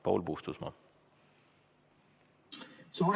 Paul Puustusmaa!